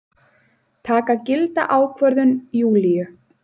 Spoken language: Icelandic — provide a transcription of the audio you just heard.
Taka gilda ákvörðun Júlíu.